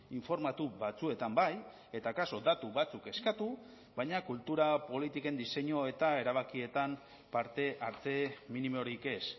informatu batzuetan bai eta akaso datu batzuk eskatu baina kultura politiken diseinu eta erabakietan parte hartze minimorik ez